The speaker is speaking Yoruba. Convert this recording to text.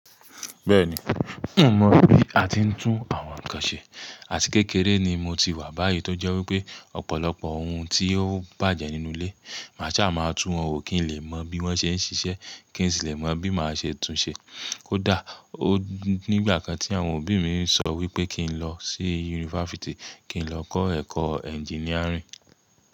Bẹ́ẹ̀ni, n ò mọ bí a ti ń tún àwọn ǹkan ṣe, àti kékeré ni mo ti wà báyìí tó jẹ́ wípé ọ̀pọ̀lọpọ̀ ohun tí ó bàjẹ́ nínú ilé, màa sá máa tú wọn wò kí n lè mọ bí wọ́n ṣe ń ṣiṣẹ́ kí n sì lè mọ bí màá ṣe tunṣe. Kódà, o nígbà kan tí àwọn òbí mi sọ wípé kí n lọ sí yunifásítì kí n lọ kọ́ ẹ̀kọ́ ẹnjiníàrìn.